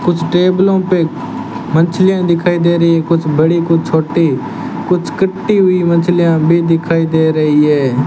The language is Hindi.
कुछ टेबलों पे मछलियां दिखाई दे रही है कुछ बड़ी कुछ छोटी कुछ कटी हुई मछलियां भी दिखाई दे रही है।